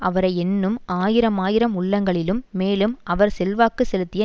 அவரை எண்ணும் ஆயிரமாயிரம் உள்ளங்களிலும் மேலும் அவர் செல்வாக்கு செலுத்திய